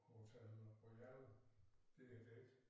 Hotel Royal det er dét